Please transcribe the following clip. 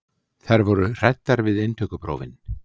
Þær voru hræddar við inntökuprófin.